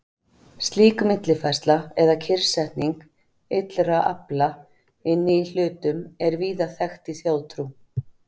Slík millifærsla eða kyrrsetning illra afla inni í hlutum er víða þekkt í þjóðtrú.